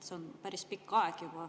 See on päris pikk aeg.